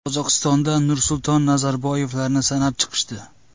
Qozog‘istonda Nursulton Nazarboyevlarni sanab chiqishdi.